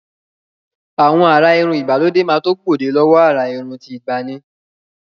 Àwọn àrà irun ìgbàlódé máa tó gbòde lọ́wọ àrà irun ti ìgbàanì.